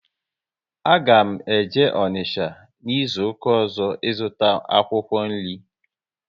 A ga m eje Onicha n'izuka ọzọ, ị zụta akwụkwọ nri